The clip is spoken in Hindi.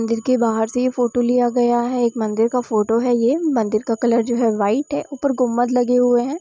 मंदिर के बाहर से ये फोटो लिया गया है| एक मंदिर का फोटो है| मंदिर का कलर जो हे वो व्हाइट है| ऊपर गुम्मत लगे हुए है।